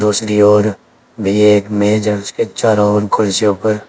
रोशनी और भी एक मेज है। उसके चारों ओर कुर्सियों पर --